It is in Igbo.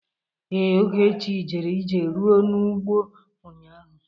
Ee, Ogechi jere ije rụọ n'ugbo ụnyaahụ.